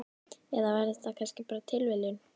Eða var þetta kannski bara tilviljun?